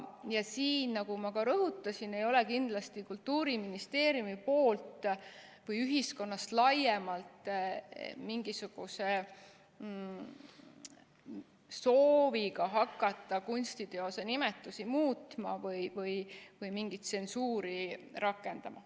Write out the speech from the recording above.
Ja siin, nagu ma ka rõhutasin, ei ole kindlasti Kultuuriministeeriumi või laiemalt ühiskonna mingisuguse sooviga hakata kunstiteoste nimetusi muutma või mingit tsensuuri rakendama.